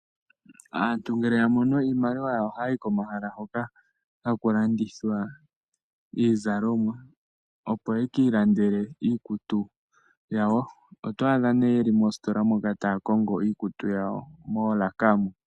Aantu ngele ya mono iimaliwa ohaya yi komahala hoka haku landithwa iizalomwa, opo ye ki ilandele iikutu yawo. Oto adha nduno ye li moositola moka taya kongo iikutu yawo moolaka.